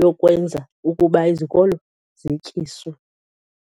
yokwenza ukuba izikolo zityiswe.